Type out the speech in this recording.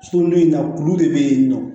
Sulu in na kulu de bɛ yen nɔ